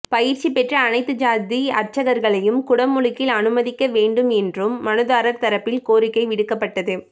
பயிற்சி பெற்ற அனைத்து சாதி அர்ச்சகர்களையும் குடமுழுக்கில் அனுமதிக்க வேண்டும் என்றும் மனுதாரர் தரப்பில் கோரிக்கை விடுக்கப்பட்டது